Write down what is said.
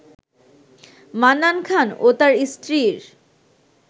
মান্নান খান ও তার স্ত্রীর